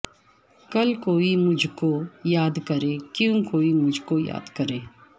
کل کوئی مجھ کو یاد کرے کیوں کوئی مجھ کو یاد کرے